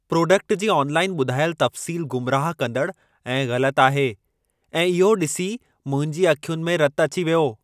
Product जी online ॿुधायल तफ़्सील गुमराह कंदड़ ऐं ग़लति आहे ऐं इहो ॾिसी मुंहिंजी अखियुनि में रतु अची वयो।